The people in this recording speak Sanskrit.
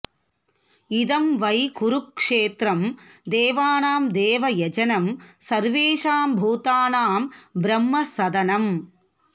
इदं वै कुरुक्षेत्रं देवानां देवयजनं सर्वेषां भूतानां ब्रह्मसदनम्